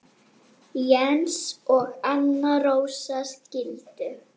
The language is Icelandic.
Jens og Anna Rósa skildu.